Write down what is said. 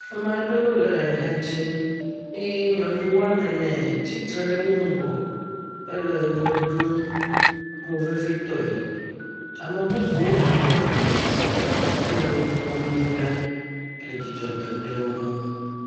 Ame aɖewo le ha dzim eye nyɔnuwo woame ne tsitre ɖe wo ŋgɔ ele ʋe ɖum movevitɔe. Ame bubuwo bɔbɔnɔ anyi hele wo kpɔm do ɖa hele dzidzɔ dom ɖe wo nu.